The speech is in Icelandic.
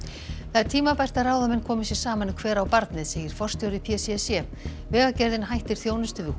það er tímabært að ráðamenn komi sér saman um hver á barnið segir forstjóri p c c vegagerðin hættir þjónustu við